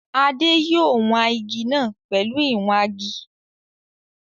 Adé yòó wan igi náà pẹ̀lú ìwangi